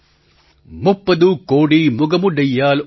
मुप्पदु कोडी मुगमुडैयाळ મુપ્પધુકોડીમુગામુદાયલ